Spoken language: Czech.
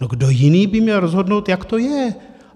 No, kdo jiný by měl rozhodnout, jak to je?